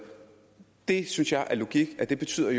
det synes jeg er logik og det betyder